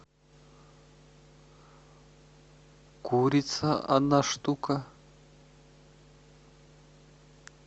курица одна штука